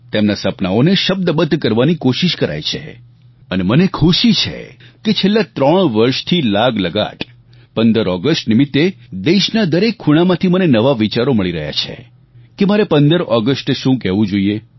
તેમના સપનાઓને શબ્દબદ્ધ કરવાની કોશિશ કરાય છે અને મને ખુશી છે કે છેલ્લા 3 વર્ષથી લાગલગાટ 15 ઓગસ્ટ નિમિત્તે દેશના દરેક ખૂણામાંથી મને નવા વિચારો મળી રહ્યા છે કે મારે 15 ઓગસ્ટે શું કહેવું જોઈએ